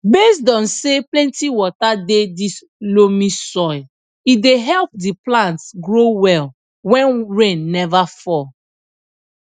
based on say plenty water dey this loamy soil e dey help the plants grow well wen rain neva fall